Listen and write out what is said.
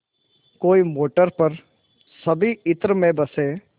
कोई मोटर पर सभी इत्र में बसे